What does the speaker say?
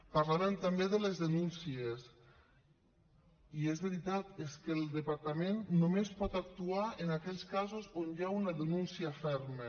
parlàvem també de les denúncies i és veritat és que el departament només pot actuar en aquells casos on hi ha una denúncia ferma